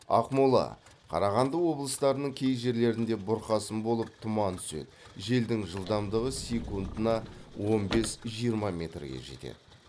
ақмола қарағанды облыстарының кей жерлерінде бұрқасын болып тұман түседі желдің жылдамдығы секундына он бес жиырма метрге жетеді